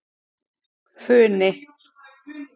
Funi